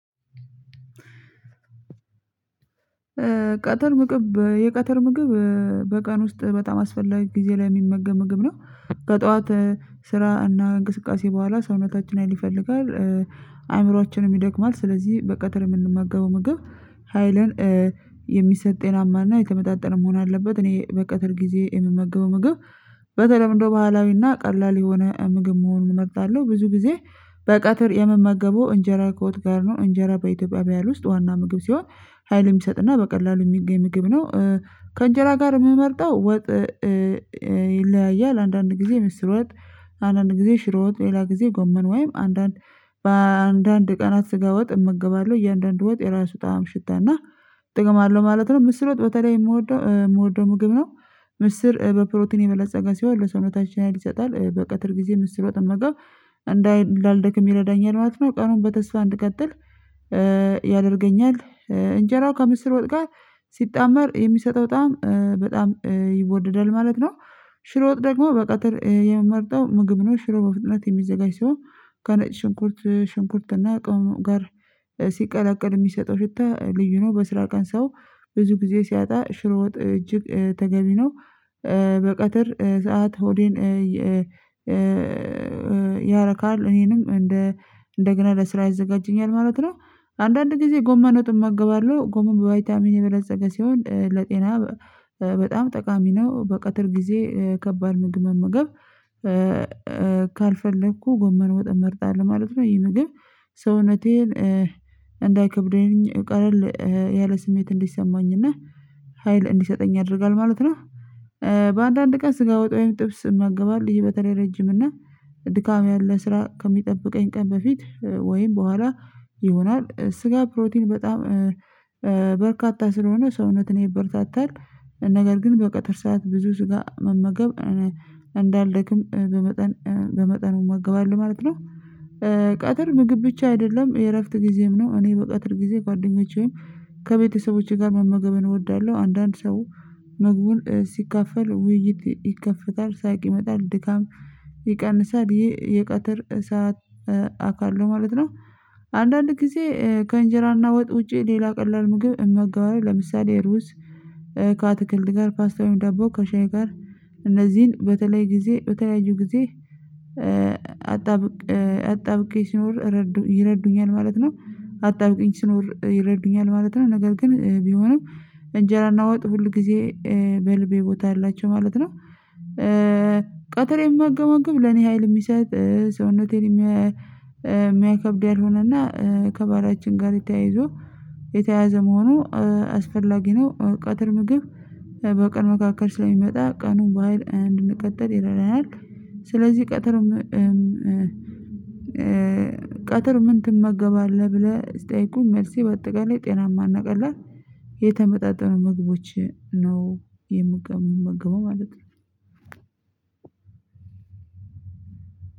ቀትር ምግብ የቀትር ምግብ በቀን ውስጥ በጣም አስፈላጊ ጊዜ ላይ የሚመገም ምግብ ነው። በጠዋት ስራ እና እንቅስቃሴ በኋላ ሰውነታችን ሀይል ይፈልጋል። አእምሮአችንም ይደክማል ስለዚህ በቀጥር የምንመገበው ምግብ። ሀይልን የሚሰጥ ጤናማና የተመጣጠነ መሆን አለበት። እኔ በቀትር ጊዜ የምመገበው ምግብ። በተለምዶ ባህላዊና ቀላል የሆነ ምግብ መሆኑን እመርጣለሁ ብዙ ጊዜ። በቀትር የምመገበው እንጀራ ከወጥጋር ነው እንጀራ በኢትዮጵያ ባህል ውስጥ ዋና ምግብ ሲሆን። ሀይል ሚሰጥና በቀላሉም የሚገኝ ምግብ ነው። ከእንጀራ ጋር የምመርጠው ወጥ። ይለያያል አንዳንድ ጊዜ ምስር ወጥ። አንዳንድ ጊዜ ሽሮ ወጥ ሌላ ጊዜ ጎመን ወይም አንዳንድ በአንዳንድ ቀናት ስጋ ወጥ እመገባለሁ። እያንዳንዱ ወጥ የራሱ ጣዕም ሽታና ጥቅም አለው ማለት ነው። ምስር ወጥ በተለይ የምወደው የምወደው ምግብ ነው። ምስር በፕሮቲን የበለፀገ ሲሆን ለሰውነታችን ሀይል ይሰጣል። በቀትር ጊዜ ምስር ወጥ መመገብ እንዳይ እንዳልደክም ይረዳኛል ማለት ነው። ቀኑን በተስፋ እንድትቀጥል ያደርገኛል። እንጀራው ከምስር ወጥ ጋር ሲጣመር የሚሰጠው በጣም በጣም ይወደዳል ማለት ነው። ሽሮ ወጥ ደግሞ በቀጥር የምመርጠው ምግብ ነው። ሽሮ በፍጥነት የሚዘጋጅ ሲሆን ከነጭ ሽንኩርት ሽንኩርት እና ቅመም ጋር ሲቀላቀል የሚሰጠው ሽታ ልዩ ነው። በስራ ቀን ሰው ብዙ ጊዜ ሲያጣ ሽሮ ወጥ እጅግ ተገቢ ነው። በቀትር ሰዓት ሆዴን ያረካል እኔንም እንደ እንደገና ለስራ ያዘጋጀኛል ማለት ነው። አንዳንድ ጊዜ ጎመን ወጥ እመገባለሁ ጎመን በባይታሚን የበለፀገ ሲሆን ለጤና በጣም ጠቃሚ ነው። በቀትር ጊዜ ከባድ ምግብ መምገብ ካልፈለኩ ጎመን ወጥን መርጣለሁ ማለት ነው። ይሄ ምግብ ሰውነቴን እንዳይከብደኝ ቀለል ያለ ስሜት እንዲሰማኝና ሀይል እንዲሰጠኝ ያደርጋል ማለት ነው። በአንዳንድ ቀን ስጋ ወጥ ወይም ጥብስ እመገባል ይሄ በተለይ ረጅም እና ድካም ያለ ስራ ከሚጠብቀኝ ቀን በፊት ወይም በኋላ ይሆናል። ስጋ ፕሮቲን በጣም በርካታ ስለሆነ ሰውነትን ይበረታታል። ነገር ግን በቀጥር ሰዓት ብዙ ስጋ መመገብ እንዳልደክም በመጠን በመጠኑ እመገባል ማለት ነው። ቀትር ምግብ ብቻ አይደለም የእረፍት ጊዜም ነው። እኔ በቀትር ጊዜ ጓደኞቼም ከቤተሰቦቼ ጋር መመገብን እወዳለሁ። አንዳንድ ሰው ምግቡን ሲካፈል ውይይት ይከፈታል ሳቅ ይመጣል ድካም ይቀንሳል። ይሄ የቀትር ሰዓት አካል ነው ማለት ነው። አንዳንድ ጊዜ ከእንጀራና ወጥ ውጪ ሌላ ቀላል ምግብ እመጋባለው ለምሳሌ ሩዝ ከአትክልት ጋር ፓስታ ወይ ደቦ ከሻይ ጋር እነዚህን በተለይ ጊዜ በተለያዩ ጊዜ አጣብቄ ሲኖር ይረዱኛል ማለት ነው። አጣብቄ ሲኖር ይረዱኛል ማለት ነው። ነገር ግን ቢሆንም እንጀራ ወጥ ሁል ጊዜ በልቤ ቦታ አላቸው ማለት ነው። ቀትር የምመገበው ለኔ ሀይል የሚሰጥ ሰውነቴን የማይከብደኝ ያልሆነና ከባህላችን ጋር ተያይዞ የተያያዘ መሆኑ አስፈላጊ ነው። ቀትር ምግብ በቀን መካከል ስለሚመጣ ቀኑን በሃይል እንድንቀጥል ይረዳናል። ስለዚህ ቀትር ቀትር ምን ትመገባለህ? ብለህ ስጠይቁኝ መልሴ በአጠቃላይ ጤናማና ቀላል የተመጣጠኑ ምግቦች ነው የምመገበው ማለት ነው።